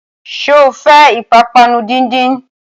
Sọ fẹ́ ìpápánu díndín?